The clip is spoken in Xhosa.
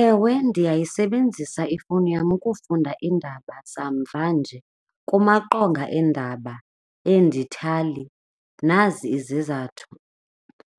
Ewe, ndiyayisebenzisa ifowuni yam ukufunda iindaba zamvanje kumaqonga eendaba eendithali. Nazi izizathu,